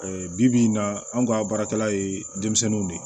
bibi in na anw ka baarakɛla ye denmisɛnninw de ye